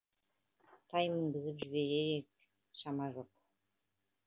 тай мінгізіп жіберер ек шама жоқ